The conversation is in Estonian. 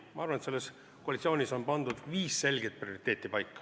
Ma arvan, et selles koalitsioonis on pandud paika viis selget prioriteeti.